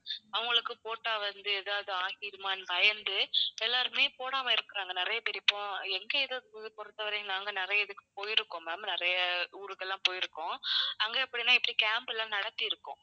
அவங்களுக்கு போட்டா வந்து ஏதாவது ஆகிடுமான்னு பயந்து எல்லாருமே போடாம இருக்குறாங்க நிறைய பேர் இப்போ எங்க இதைப் ஊரைப் பொறுத்தவரையும் நாங்க நிறைய இதுக்கு போயிருக்கோம் ma'am நிறைய ஊருக்கெல்லாம் போயிருக்கோம். அங்க எப்படின்னா இப்படி camp எல்லாம் நடத்தி இருக்கோம்.